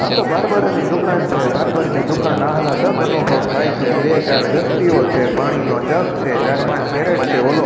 આ તો બાર્બર ની દુકાન છે બાર્બર ની દુકાન આહલાદક અનુભવ થાય છે બે ચાર વ્યક્તિઓ છે પાણીનો જગ છે ચાર પાંચ કેરેટ છે ઓલો--